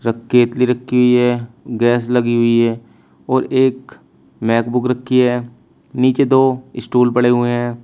Cake भी रखी हुई है गैस लगी हुई है और एक मैकबुक रखी है नीचे दो स्टूल पड़े हुए हैं।